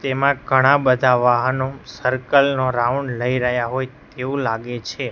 તેમાં ઘણા બધા વાહનો સર્કલ નો રાઉન્ડ લઈ રહ્યા હોય તેવું લાગે છે.